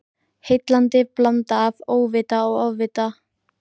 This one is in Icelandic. Heillandi blanda af óvita og ofvita.